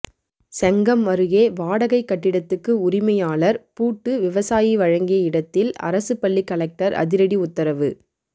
செங்கம் அருகே வாடகை கட்டிடத்துக்கு உரிமையாளர் பூட்டு விவசாயி வழங்கிய இடத்தில் அரசு பள்ளி கலெக்டர் அதிரடி உத்தரவு